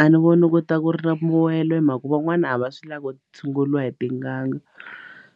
A ni voni ku ta ku ri na mbuwelo hi mhaka van'wana a va swi lavi ku tshunguriwa hi tin'anga